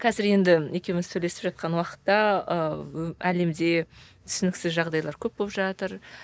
қазір енді екеуміз сөйлесіп жатқан уақытта ыыы әлемде түсініксіз жағдайлар көп болып жатыр